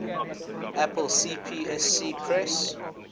apple cpsc press